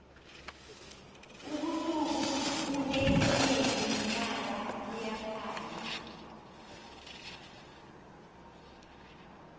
ubusuku ubune nyezi nenyanga buyakhanya